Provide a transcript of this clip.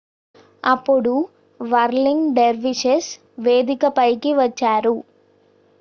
అప్పుడు whirling dervishes వేదిక పైకి వచ్చారు